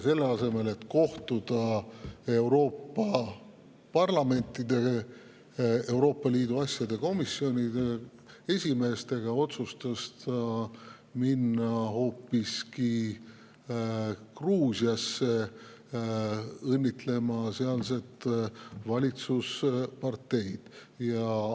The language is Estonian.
Selle asemel, et kohtuda Euroopa parlamentide Euroopa Liidu asjade komisjonide esimeestega, otsustas ta minna hoopiski Gruusiasse, et õnnitleda sealset valitsusparteid.